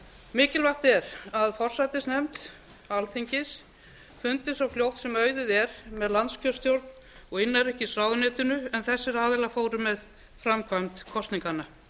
mikilvægt er að forsætisnefnd alþingis fundi svo fljótt sem auðið er með landskjörstjórn og innanríkisráðuneytinu en þessir aðilar fóru með framkvæmd kosninganna